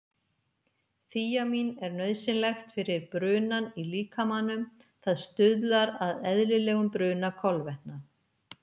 Þíamín er nauðsynlegt fyrir brunann í líkamanum, það stuðlar að eðlilegum bruna kolvetna.